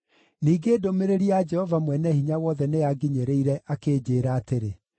Ningĩ ndũmĩrĩri ya Jehova Mwene-Hinya-Wothe nĩyanginyĩrire akĩnjĩĩra atĩrĩ,